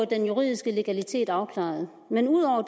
den juridiske legalitet afklaret men ud over